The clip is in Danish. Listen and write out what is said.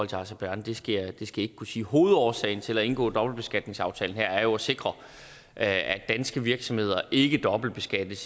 til aserbajdsjan skal jeg ikke kunne sige hovedårsagen til at indgå dobbeltbeskatningsaftalen her er jo at sikre at danske virksomheder ikke dobbeltbeskattes